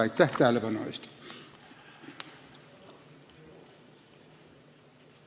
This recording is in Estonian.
Aitäh tähelepanu eest!